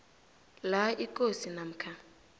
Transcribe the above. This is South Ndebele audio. la ikosi namkha